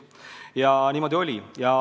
Aga niimoodi oli.